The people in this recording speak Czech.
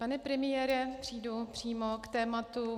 Pane premiére, přejdu přímo k tématu.